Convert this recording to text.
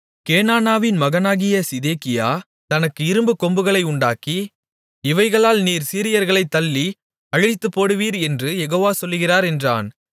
கேனானாவின் மகனாகிய சிதேக்கியா தனக்கு இரும்புக்கொம்புகளை உண்டாக்கி இவைகளால் நீர் சீரியர்களைத் தள்ளி அழித்துப்போடுவீர் என்று யெகோவா சொல்லுகிறார் என்றான்